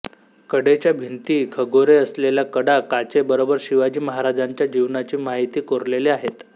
कडेच्या भिंती खगोरे असलेल्या कडा काचे बरोबर शिवाजी महाराजांच्या जीवनाची माहिती कोरलेले आहेत